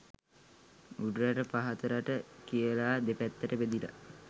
උඩරට පහත රට කියලාදෙපැත්තට බෙදිලා